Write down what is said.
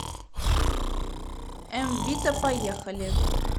м вита поехали